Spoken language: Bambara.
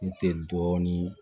Ne tɛ dɔɔnin